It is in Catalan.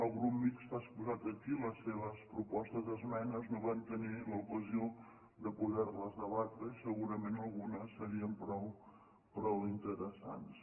el grup mixt ha exposat aquí les seves propostes d’esmenes no vam tenir l’ocasió de poder les debatre i segurament algunes serien prou interessants